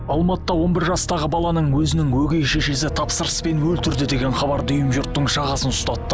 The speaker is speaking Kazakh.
алматыда он бір жастағы баланың өзінің өгей шешесі тапсырыспен өлтірді деген хабар дүйім жұрттың жағасын ұстатты